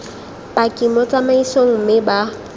paki mo tsamaisong mme ba